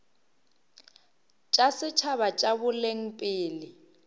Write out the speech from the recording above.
tša setšhaba tša boleng pele